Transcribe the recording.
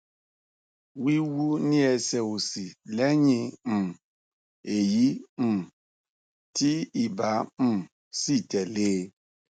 ẹnlẹ o ẹ ṣeun mo kà mo mo sì lóye ohun tó ń jẹ yín lọkàn